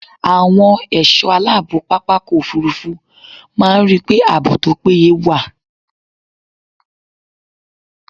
Àwọn ẹ̀ṣọ́ aláàbò pápákọ̀ òfurufú máa ń ríi pé ààbò tó péye wà.